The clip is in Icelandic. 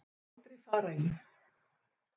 Hvað myndir þú aldrei fara í